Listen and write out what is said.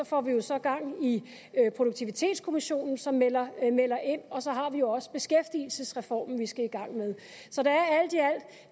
får vi vi så gang i produktivitetskommissionen som melder melder ind og så har vi også beskæftigelsesreformen som vi skal i gang med